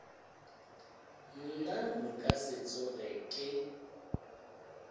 nna nka se tsoge ke